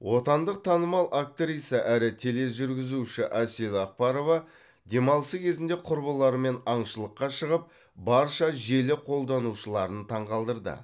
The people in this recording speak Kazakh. отандық танымал актриса әрі тележүргізуші әсел ақбарова демалысы кезінде құрбыларымен аңшылыққа шығып барша желі қолданушыларын таңғалдырды